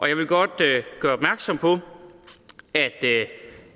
jeg vil godt gøre opmærksom på at